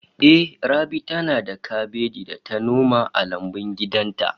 Ehh, Rabi tana da kabeji da ta noma a lambun gidan ta